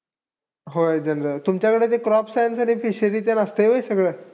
होय general. तुमच्याकडे ते crop science आणि fishery तेन असतंय होय सगळं?